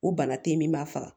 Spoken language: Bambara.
O bana te yen min b'a faga